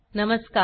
नमस्कार